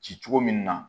Ci cogo min na